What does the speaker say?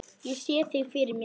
Ég sé þig fyrir mér.